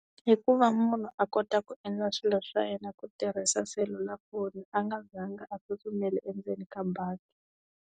Hikuva munhu a kota ku endla swilo swa yena ku tirhisa selulafoni a nga zanga a tsutsumeli endzeni ka bangi.